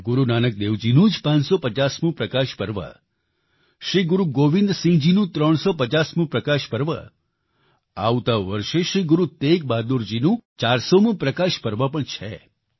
ગુરુ નાનક દેવજી નો જ 550મું પ્રકાશ પર્વ શ્રી ગુરુ ગોવિંદ સિંહજીનું 350મું પ્રકાશ પર્વ આવતા વર્ષે શ્રી ગુરુ તેગ બહાદુરજીનું 400મું પ્રકાશ પર્વ પણ છે